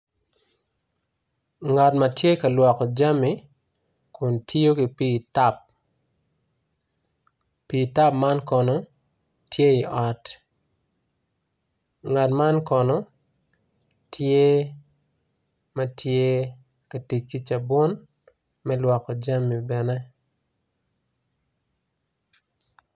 Ngat matye ka lwongo jami kun tiyo ki pi tap pi tap man kono tye i ot ngat man kono tye matye ka tic ki cabun me lwoko jami i yo.